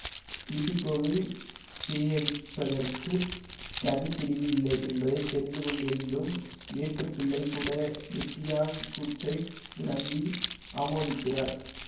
இபிகோவில் பேயடிப்பதற்குத் தனி பிரிவு இல்லை என்பதை தெரிந்துகொண்டிருந்தும் ஏட்டுப்பிள்ளை கூட வெட்டியான் கூற்றை நம்பி ஆமோதிக்கிறார்